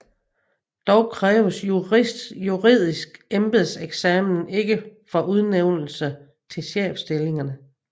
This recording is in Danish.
Dog kræves juridisk embedseksamen ikke for udnævnelse til chefstillingerne